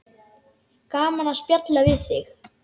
Gaman að spjalla við þig.